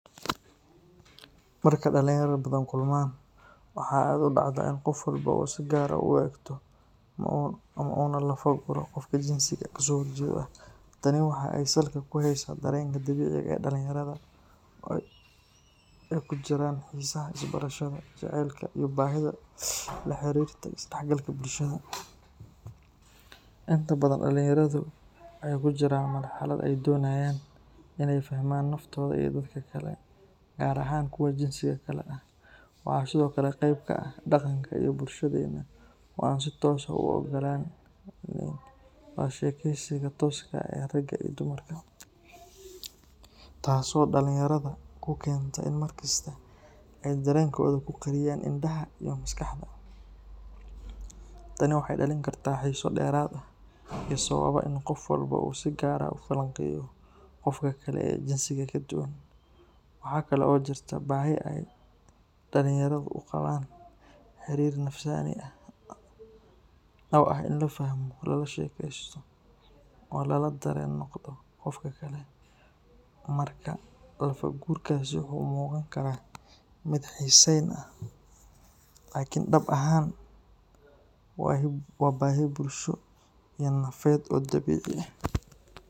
Marka dhalinyarada Badhan kulmaan, waxaa aad u dhacda in qof walba uu si gaar ah u eegto una lafa-guro qofka jinsiga ka soo horjeeda ah. Tani waxa ay salka ku haysaa dareenka dabiiciga ah ee dhalinyarada oo ay ku jiraan xiisaha isbarashada, jaceylka iyo baahida la xiriirta isdhexgalka bulshada. Inta badan dhalinyaradu waxay ku jiraan marxalad ay doonayaan inay fahmaan naftooda iyo dadka kale, gaar ahaan kuwa jinsiga kale ah. Waxaa sidoo kale qayb ka ah dhaqanka iyo bulshadeena oo aan si toos ah u oggolayn wada sheekaysiga tooska ah ee ragga iyo dumarka, taasoo dhalinyarada ku keenta in markasta ay dareenkooda ku qariyaan indhaha iyo maskaxda. Tani waxay dhalin kartaa xiiso dheeraad ah oo sababa in qof walba uu si gaar ah u falanqeeyo qofka kale ee jinsiga ka duwan. Waxaa kale oo jirta baahi ay dhalinyaradu u qabaan xiriir nafsaani ah oo ah in la fahmo, lala sheekaysto oo lala dareen noqdo qofka kale. Markaa lafa-gurkaasi waxa uu u muuqan karaa mid xiisayn ah, laakiin dhab ahaan waa baahi bulsho iyo nafeed oo dabiici ah.